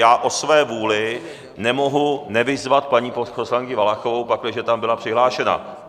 Já o své vůli nemohu nevyzvat paní poslankyni Valachovou, pakliže tam byla přihlášena.